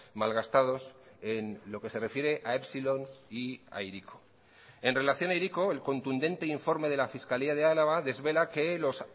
malgastados en lo que se refiere a epsilon y a hiriko en relación a hiriko el contundente informe de la fiscalía de álava desvela que los